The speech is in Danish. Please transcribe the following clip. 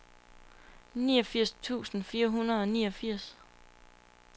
niogfirs tusind fire hundrede og niogfirs